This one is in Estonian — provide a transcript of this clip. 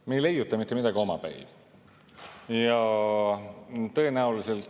Me ei leiuta mitte midagi omapäi.